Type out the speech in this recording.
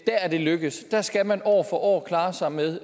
er det lykkedes der skal man år år klare sig med